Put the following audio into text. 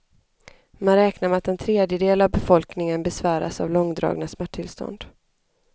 Man räknar med att en tredjedel av befolkningen besväras av långdragna smärttillstånd.